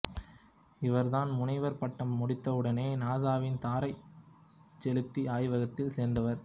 இவ்ர் தன் முனைவர் பட்டம் முடித்தவுடனே நாசாவின் தாரைச் செலுத்த ஆய்வகத்தில் சேர்ந்தார்